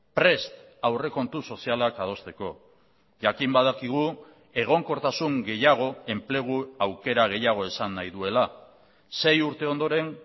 prest aurrekontu sozialak adosteko jakin badakigu egonkortasun gehiago enplegu aukera gehiago esan nahi duela sei urte ondoren